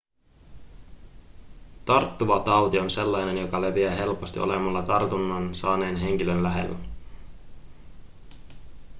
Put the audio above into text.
tarttuva tauti on sellainen joka leviää helposti olemalla tartunnan saaneen henkilön lähellä